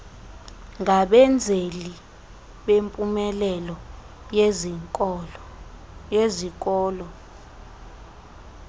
ngabenzeli bempumelelo yezikolo